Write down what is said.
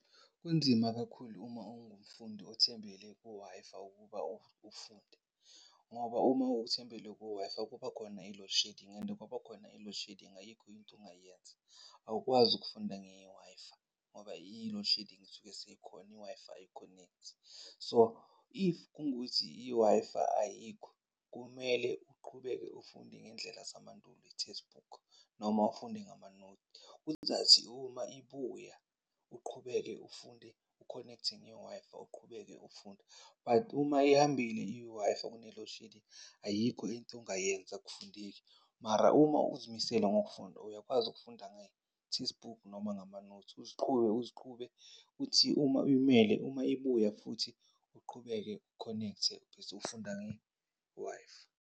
Kunzima kakhulu uma ungumfundi othembele ku-Wi-Fi ukuba ufunde. Ngoba uma uthembele ku-Wi-Fi kubakhona i-load shedding and kwabakhona i-load shedding ayikho into ongayenza. Awukwazi ukufunda nge-Wi-Fi ngoba i-loadshedding isuke seyikhona, i-Wi-Fi ayikhonekthi. So, if kungukuthi i-Wi-Fi ayikho kumele uqhubeke ufunde ngendlela zamandulo, i-textbook noma ufunde ngamanothi. Kuzathi ma ibuya uqhubeke ufunde, ukhonekthe nge-Wi-Fi uqhubeke ufunda, but uma ihambile i-Wi-Fi kune-load shedding ayikho into ongayenza, akafundeki. Mara, uma uzimisele ngokufunda uyakwazi ukufunda nge-textbook noma ngamanothi uziqhube uziqhube kuthi uma uyimele, uma ibuya futhi uqhubeke ukhonekthe ubese ufunda nge-Wi-Fi.